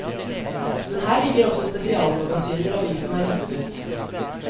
Men her ligger også spesialmagasiner avisen har gitt ut.